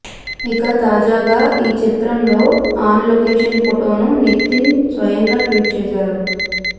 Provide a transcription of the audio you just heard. ఇక తాజాగా ఈ చిత్రంలో ఆన్ లొకేషన్ ఫోటోను నితిన్ స్వయంగా ట్వీట్ చేసారు